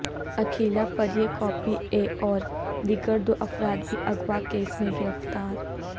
اکھیلا پریہ کا P A اور دیگر دو افراد بھی اغواء کیس میں گرفتار